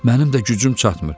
Mənim də gücüm çatmır.